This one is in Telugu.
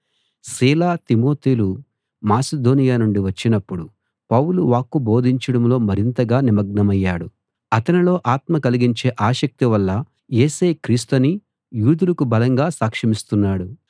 సీల తిమోతిలు మాసిదోనియ నుండి వచ్చినప్పుడు పౌలు వాక్కు బోధించడంలో మరింతగా నిమగ్నమయ్యాడు అతనిలో ఆత్మ కలిగించే ఆసక్తివల్ల యేసే క్రీస్తని యూదులకు బలంగా సాక్షమిస్తున్నాడు